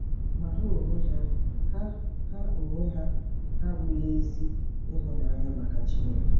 Ma ha onwe ha ha onwe ha abụghị ezi ịhụnanya maka Chineke.